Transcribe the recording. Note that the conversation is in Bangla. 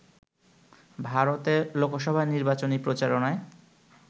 ভারতে লোকসভা নির্বাচনী প্রচারণায়